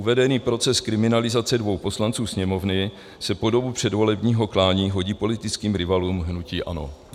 Uvedený proces kriminalizace dvou poslanců Sněmovny se po dobu předvolebního klání hodí politickým rivalům hnutí ANO.